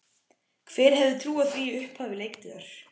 Hver hefði trúað því í upphafi leiktíðar?